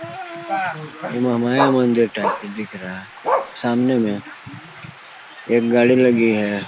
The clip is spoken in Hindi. ये माया मंदिर टाइप की दिख रहा है सामने में एक गाड़ी लगी है।